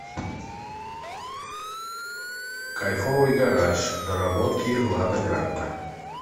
кайфовый гараж доработки лада гранта